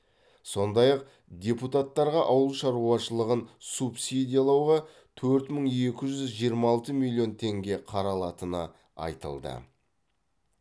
сондай ақ депутататтарға ауыл шаруашылығын субсидиялауға төрт мың екі жүз жиырма алты миллион теңге қаралатыны айтылды